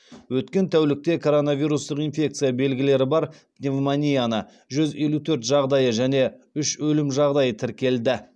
өткен тәулікте коронавирустық инфекция белгілері бар пневмонияның жүз елу төрт жағдайы және үш өлім жағдайы тіркелді